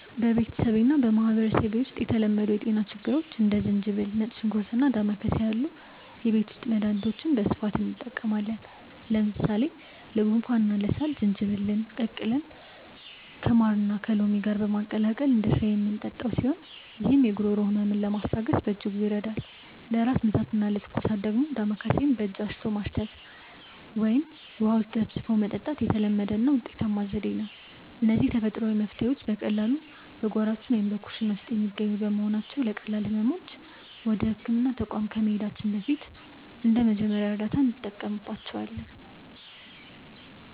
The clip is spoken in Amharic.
በቤተሰቤና በማኅበረሰቤ ውስጥ ለተለመዱ የጤና ችግሮች እንደ ዝንጅብል፣ ነጭ ሽንኩርትና ዳማከሴ ያሉ የቤት ውስጥ መድኃኒቶችን በስፋት እንጠቀማለን። ለምሳሌ ለጉንፋንና ለሳል ዝንጅብልን ቀቅለን ከማርና ከሎሚ ጋር በማቀላቀል እንደ ሻይ የምንጠጣው ሲሆን፣ ይህም የጉሮሮ ሕመምን ለማስታገስ በእጅጉ ይረዳል። ለራስ ምታትና ለትኩሳት ደግሞ ዳማከሴን በእጅ አሽቶ ማሽተት ወይም ውሃ ውስጥ ዘፍዝፎ መጠጣት የተለመደና ውጤታማ ዘዴ ነው። እነዚህ ተፈጥሯዊ መፍትሔዎች በቀላሉ በጓሯችን ወይም በኩሽና ውስጥ የሚገኙ በመሆናቸው፣ ለቀላል ሕመሞች ወደ ሕክምና ተቋም ከመሄዳችን በፊት እንደ መጀመሪያ እርዳታ እንጠቀምባቸዋለን።